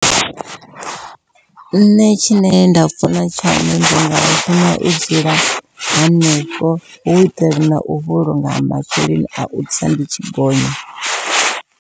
Nṋe tshine nda funa tshone ndi nga funa u dzula hanefho hu itela nau vhulunga masheleni au tsa ndi tshi gonya.